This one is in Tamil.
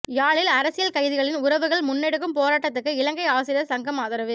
யாழில் அரசியல் கைதிகளின் உறவுகள் முன்னெடுக்கும் போராட்டத்துக்கு இலங்கை ஆசிரியர் சங்கம் ஆதரவு